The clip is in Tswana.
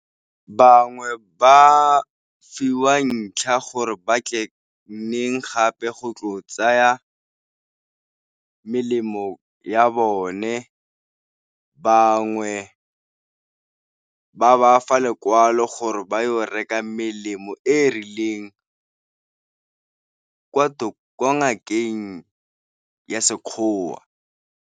Bangwe ba fiwa ntlha gore ba tle nneng gape go tlo tsaya melemo ya bone, bangwe ba ba fa lekwalo gore ba yo reka melemo e e rileng ko ngakeng ya Sekgowa.